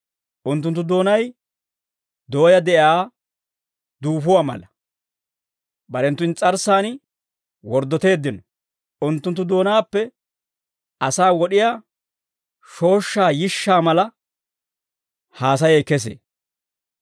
Unttunttu doonay dooyaa de'iyaa duufuwaa mala. Barenttu ins's'arssan worddoteeddino. Unttunttu doonaappe asaa wod'iyaa shooshshaa yishsha mala haasayay kesee.